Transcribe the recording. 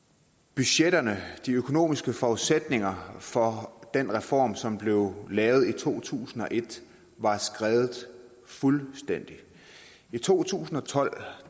budgetterne og de økonomiske forudsætninger for den reform som blev lavet i to tusind og et var skredet fuldstændig i to tusind og tolv